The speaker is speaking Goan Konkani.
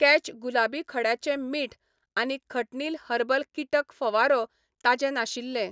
कॅच गुलाबी खड्याचें मीठ आनी खटनील हर्बल कीटक फवारो ताजें नाशिल्ले.